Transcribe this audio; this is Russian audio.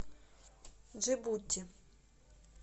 джибути